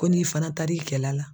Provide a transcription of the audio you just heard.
Ko n'i fana taar'i cɛla la